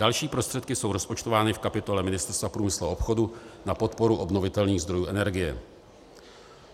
Další prostředky jsou rozpočtovány v kapitole Ministerstva průmyslu a obchodu na podporu obnovitelných zdrojů energie.